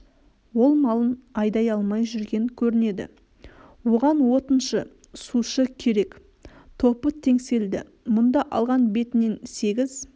ол малын айдай алмай жүрген көрінеді оған отыншы сушы керек топы теңселді мұнда алған бетінен сегіз